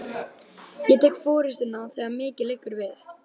Ég tek forystuna, þegar mikið liggur við!